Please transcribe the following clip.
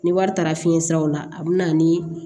Ni wari taara fiɲɛ siraw la a bi na ni